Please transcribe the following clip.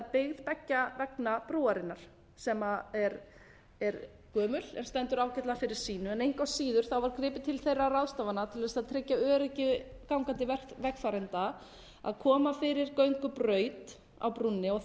byggð beggja vegna brúarinnar sem er gömul en stendur ágætlega fyrir sínu engu að síður var gripið til þeirra ráðstafana til þess að tryggja öryggi gangandi vegfarenda að koma fyrir göngubraut á brúnni og